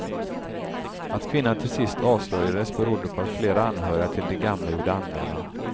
Att kvinnan till sist avslöjades berodde på att flera anhöriga till de gamla gjorde anmälan.